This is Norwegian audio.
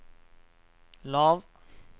lav